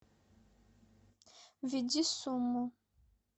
введи сумму